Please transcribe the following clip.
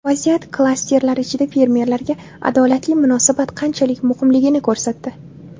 Vaziyat klasterlar ichida fermerlarga adolatli munosabat qanchalik muhimligini ko‘rsatdi?